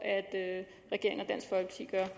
at